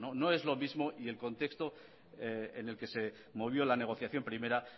no es lo mismo y el contexto en el que se movió la negociación primera